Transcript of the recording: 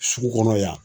Sugu kɔnɔ yan